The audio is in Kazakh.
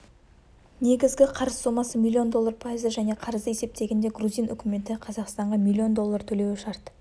негізгі қарыз сомасы миллион доллар пайызды және қарызды есептегенде грузин үкіметі қазақстанға миллион доллар төлеуі шарт